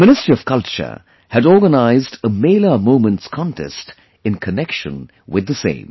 The Ministry of Culture had organized a Mela Moments Contest in connection with the same